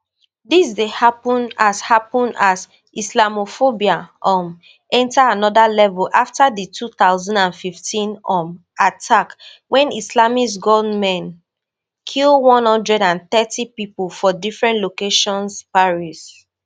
dis dey happun as happun as islamophobia um enta anoda level afta di two thousand and fifteen um attacks wen islamist gunmen kill one hundred and thirty pipo for different locations paris